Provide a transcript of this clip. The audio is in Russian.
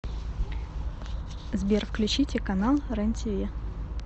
сбер включите канал рен тиви